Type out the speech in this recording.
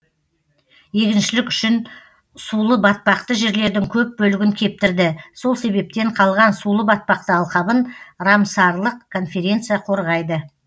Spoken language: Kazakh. егіншілік үшін сулыбатпақты жерлердің көп бөлігін кептірді сол себептен қалған сулы батпақты алқабын рамсарлық конференция қорғайды